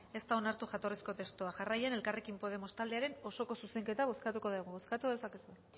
ez da onartu jatorrizko testua jarraian elkarrekin podemos taldearen osoko zuzenketa bozkatuko dugu bozkatu dezakezue